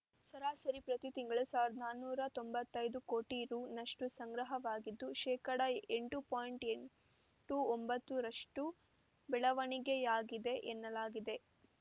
ಸರಾಸರಿ ಪ್ರತಿ ತಿಂಗಳು ಸಾವಿರದ ನಾನೂರ ತೊಂಬತ್ತೈದು ಕೋಟಿ ರುನಷ್ಟುಸಂಗ್ರಹವಾಗಿದ್ದು ಶೇಕಡಾ ಎಂಟು ಪಾಯಿಂಟ್ ಎಂಟು ಒಂಬತ್ತರಷ್ಟು ಬೆಳವಣಿಗೆಯಾಗಿದೆ ಎನ್ನಲಾಗಿದೆ